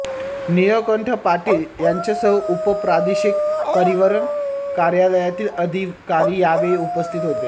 निळकंठ पाटील यांच्यासह उपप्रादेशिक परिवहन कार्यालयातील अधिकारी यावेळी उपस्थित होते